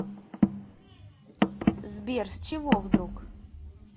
сбер с чего вдруг